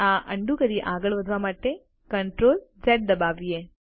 આ અન્ડું કરી આગળ વધવા માટે Ctrl ઝ દબાવીએ